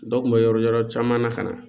Dɔw kun be yɔrɔ yɔrɔ caman na ka na